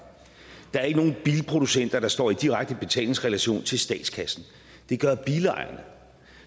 der er ikke nogen bilproducenter der står i direkte betalingsrelation til statskassen det gør bilejerne